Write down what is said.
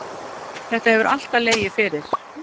Þetta hefur alltaf legið fyrir.